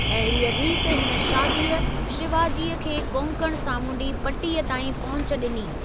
अहिड़ीअ रीत हिन शादीअ, शिवाजीअ खे कोंकण सामुंडी पटीअ ताईं पहुच ॾिनी।